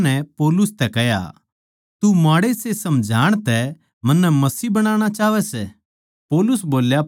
फेर अग्रिप्पा नै पौलुस तै कह्या तू माड़ेसे समझाण तै मन्नै मसीह बनाणा चाहवै सै